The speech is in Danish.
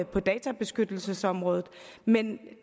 på databeskyttelsesområdet men